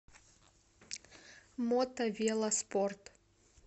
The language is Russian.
мото вело спорт